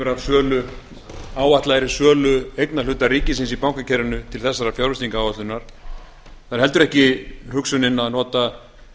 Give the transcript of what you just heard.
af áætlaðri sölu eignarhluta ríkisins í bankakerfinu til þessarar fjárfestingaráætlunar það er heldur ekki hugsunin að nota